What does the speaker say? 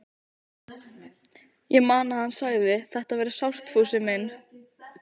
Ég man að hann sagði: Þetta verður sárt, Fúsi minn.